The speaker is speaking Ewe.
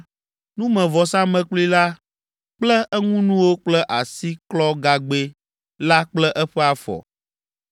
numevɔsamlekpui la kple eŋunuwo kple asiklɔgagbɛ la kple eƒe afɔ.